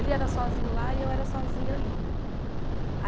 Ele era sozinho lá e eu era sozinha ali, né?